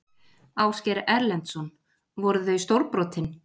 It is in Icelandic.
Ásgeir Erlendsson: Voru þau stórbrotin?